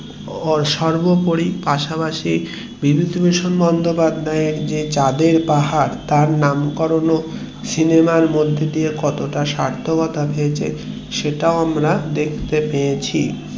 সর্বপরি পাশাপাশি বিভূতিভূষণ বন্দোপাধ্যায় যে চাঁদের পাহাড় তার যে নামকরণ সিনেমার মধ্যে দিয়ে যে কত তা সার্থ্যকতা পেয়েছে সেটাও আমরা দেখতে পেয়েছি